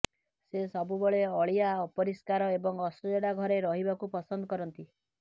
ସେ ସବୁବେଳେ ଅଳିଆ ଅପରିଷ୍କାର ଏବଂ ଅସଜଡ଼ା ଘରେ ରହିବାକୁ ପସନ୍ଦ କରନ୍ତ